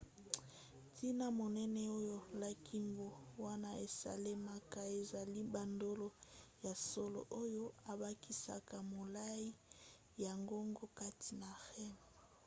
ntina monene oyo likambo wana esalemaka ezali bandolo ya solo oyo ebakisaka molai ya ngonga kati na rem